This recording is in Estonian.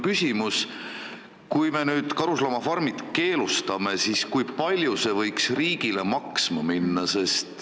Kui me nüüd karusloomafarmid keelustame, siis kui palju see võiks riigile maksma minna?